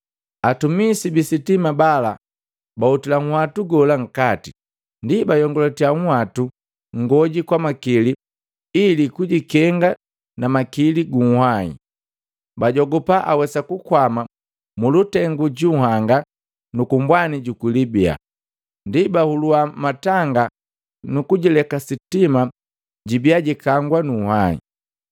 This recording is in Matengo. Atumisi bisitima bala bahutila nhwatu gola nkati, ndi biiyongulatiya uhwatu ngoji kwa makili ili kujikenga na makili gu uhwahi. Bajogupa awesa kukwama mulutengu gu nhanga nuku mbwani juku Libia. Ndi bahulua matanga nuku lileka sitima libia likangwa nu nhwahi,